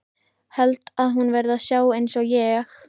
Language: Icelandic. Held að hún verði að sjá einsog ég.